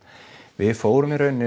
við fórum í raun